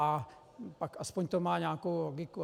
A pak aspoň to má nějakou logiku.